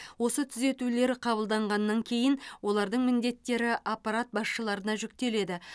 осы түзетулер қабылданғаннан кейін олардың міндеттері аппарат басшыларына жүктеледі